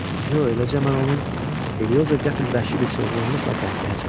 Yox, eləcə mən onun, Elioza qəfil vəhşi bir çılğınlıqla qəhqəhə çəkdi.